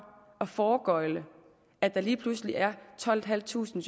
at foregøgle at der lige pludselig er tolvtusinde